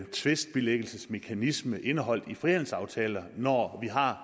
tvistbilæggelsesmekanisme indeholdt i frihandelsaftaler når vi har